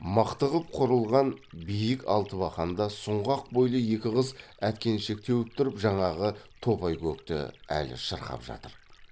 мықты ғып құрылған биік алтыбақанда сұңғақ бойлы екі қыз әткеншек теуіп тұрып жаңағы топайкөкті әлі шырқап жатыр